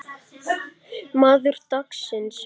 Maður dagsins?